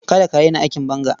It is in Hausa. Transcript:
Kada ka raina aikin banga.